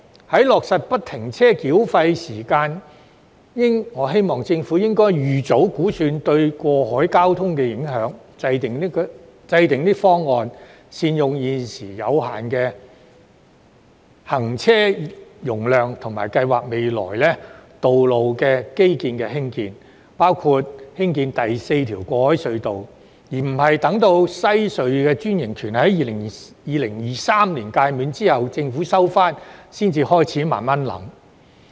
在落實不停車繳費系統時，我希望政府應預早估算這對過海交通的影響，以制訂方案，善用現時有限的行車容量及計劃未來基建的興建，包括興建第四條過海隧道，而不是待2023年西隧的專營權屆滿，收回隧道後才開始慢慢考慮。